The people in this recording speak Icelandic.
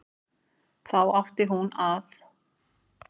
Þá átti hún að